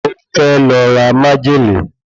Ó fẹ́ lọ ra májèlé